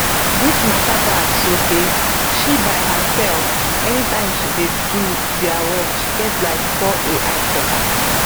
dis mata bad sotey she by herself anytime she dey do dia work she get like four ai checkers